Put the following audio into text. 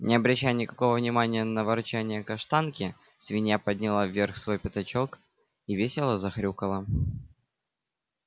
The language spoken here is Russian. не обращая никакого внимания на ворчанье каштанки свинья подняла вверх свой пятачок и весело захрюкала